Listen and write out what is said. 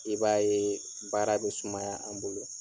I b'a ye baara bɛ sumaya an bolo.